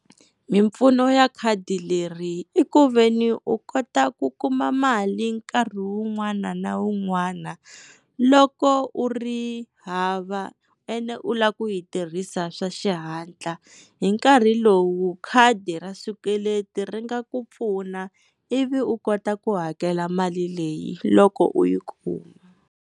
Mimpfuno ya khadi leri i ku veni u kota ku kuma mali nkarhi wun'wana na wun'wana loko u ri hava ene u lava ku yi tirhisa swa xihatla hi nkarhi lowu khadi ra swikweleti ri nga ku pfuna ivi u kota ku hakela mali leyi loko u yi kuma.